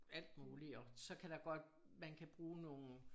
Alt muligt og så kan der godt man kan bruge nogen